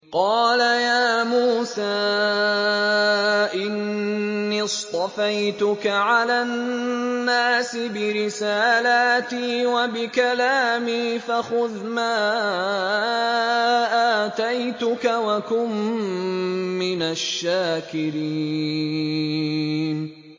قَالَ يَا مُوسَىٰ إِنِّي اصْطَفَيْتُكَ عَلَى النَّاسِ بِرِسَالَاتِي وَبِكَلَامِي فَخُذْ مَا آتَيْتُكَ وَكُن مِّنَ الشَّاكِرِينَ